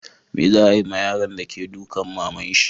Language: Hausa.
Me za'a yi ma yaron de ke dukan maman shi?